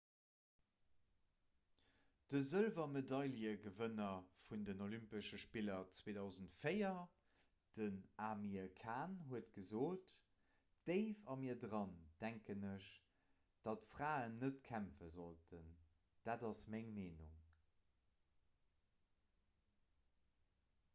de sëlwermedailegewënner vun den olympesche spiller 2004 den amir khan huet gesot déif a mir dran denken ech datt fraen net kämpfe sollten dat ass meng meenung